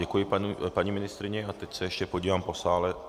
Děkuji paní ministryni a teď se ještě podívám po sále.